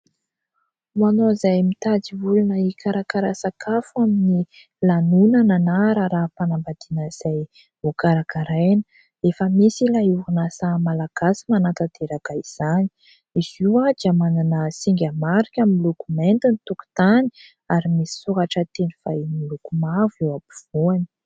Ho anao izay mitady olona hikarakara sakafo amin'ny lanonana na raharaham-panambadiana izay ho karakaraina, efa misy ilay orinasa malagasy manatanteraka izany. Izy io dia manana singa marika miloko mainty ny tokotany ary misy soratra teny vahiny miloko mavo eo ampovoany.